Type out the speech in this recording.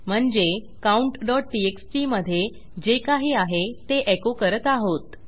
म्हणजे countटीएक्सटी मधे जे काही आहे ते एको करत आहोत